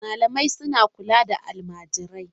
Malamai suna kula da almajirai.